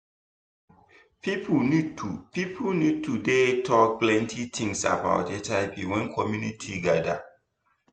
people need to people need to dey talk plenty things about hiv when community gather